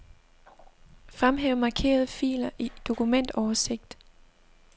Fremhæv markerede filer i dokumentoversigt.